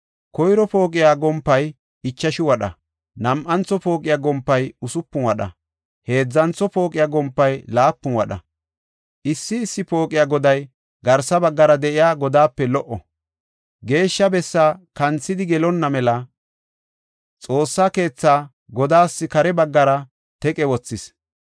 Koyro pooqiya gompay ichashu wadha; nam7antho pooqiya gompay usupun wadha; heedzantho pooqiya gompay laapun wadha. Issi issi pooqiya goday garsa baggara de7iya godaape lee7o. Geeshsha bessaa kanthidi gelonna mela xoossa keethaa godaas kare baggara teqe wothis.